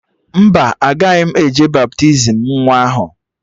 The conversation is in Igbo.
Mba, agaghị m eje baptizim nwa ahụ